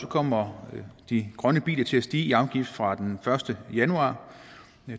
kommer de grønne biler til at stige i afgift fra den første januar